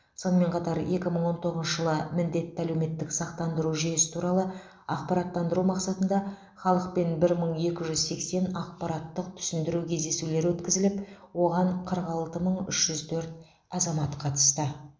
сонымен қатар екі мың он тоғызыншы жылы міндетті әлеуметтік сақтандыру жүйесі туралы ақпараттандыру мақсатында халықпен бір мың екі жүз сексен ақпараттық түсіндіру кездесулері өткізіліп оған қырық алты мың үш жүз төрт азамат қатысты